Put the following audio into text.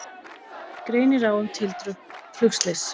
Greinir á um tildrög flugslyss